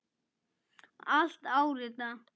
Allt áritað.